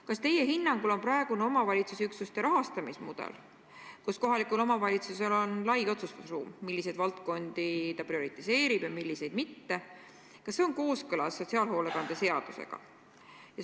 Kas teie hinnangul on praegune omavalitsusüksuste rahastamise mudel, mille kohaselt kohalikul omavalitsusel on lai otsustusruum, milliseid valdkondi ta prioriseerib ja milliseid mitte, kooskõlas sotsiaalhoolekande seadusega?